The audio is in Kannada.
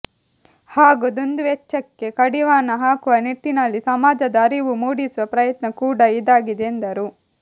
ಹಾಗೂ ದುಂದುವೆಚ್ಚಕ್ಕೆ ಕಡಿವಾಣ ಹಾಕುವ ನಿಟ್ಟಿನಲ್ಲಿ ಸಮಾಜದ ಆರಿವು ಮೂಡಿಸುವ ಪ್ರಯತ್ನ ಕೂಡ ಇದಾಗಿದೆ ಎಂದರು